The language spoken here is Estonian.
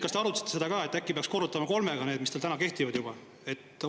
Kas te arutasite seda ka, et äkki peaks korrutama kolmega need, mis teil täna kehtivad juba?